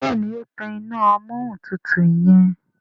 Béèni o tán iná Amóhuntutù yen.